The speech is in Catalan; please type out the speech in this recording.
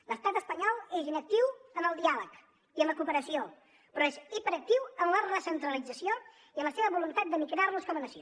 l’estat espanyol és inactiu en el diàleg i en la cooperació però és hiperactiu en la recentralització i en la seva voluntat d’aniquilar nos com a nació